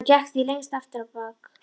Hann gekk því lengst af aftur á bak.